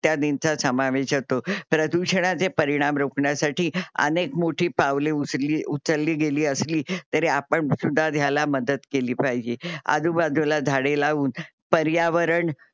इत्यादींचा समवेश असो. प्रदूषणाचे परिणाम रोकण्यासाठी अनेक मोठी पावले उच्ली उचलली गेली असली तरी आपण सुद्धा ह्यला मदत केली पाहिजे आजुबजुला झाडे लाऊन परीयावरण